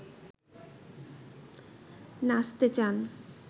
নাচতে চান